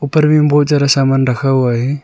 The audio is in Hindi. उपर भी मे बहोत ज्यादा सामान रखा हुआ है।